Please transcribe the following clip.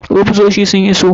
Ofisosi sun iso.